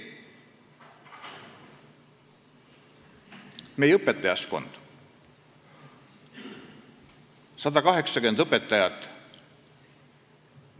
Meie õpetajaskonnas on 180 õpetajat.